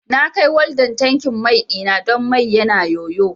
Na kai waldan tankin mai ɗina don mai yana yoyo